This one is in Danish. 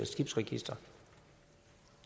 skibsregister